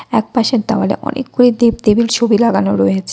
একপাশের দেওয়ালে অনেকগুলি দেবদেবীল ছবি লাগানো রয়েছে।